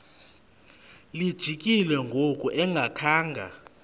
lijikile ngoku engakhanga